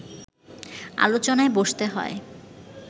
আলোচনায় বসতে হয়